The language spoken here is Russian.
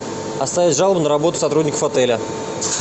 оставить жалобу на работу сотрудников отеля